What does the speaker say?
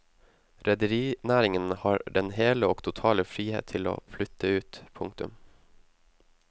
Rederinæringen har den hele og totale frihet til å flytte ut. punktum